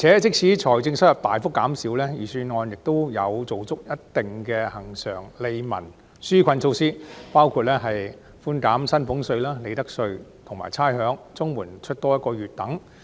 即使財政收入大幅減少，預算案仍有做足一貫的利民紓困措施，包括寬減薪俸稅、利得稅及差餉、發放一個月的額外綜援金等。